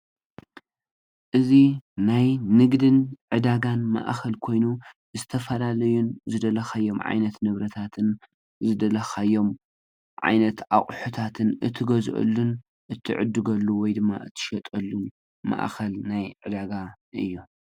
እዚ ናይ ንግድን ዕዳጋን ማእከል ኮይኑ ዝተፈላለዩን ዝደለካዮም ዓይነት ንብረታትን ዝደለካዮም ዓይነት አቁሑታትን እትገዝ እሉን እትዕድገሉ ወይ ድማ እትሸጠሉ ማእከል ናይ ዕዳጋ እዩ።